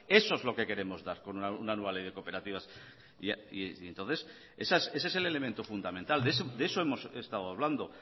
eso es lo que queremos dar con una nueva ley de cooperativas y entonces ese es el elemento fundamental de eso hemos estado hablando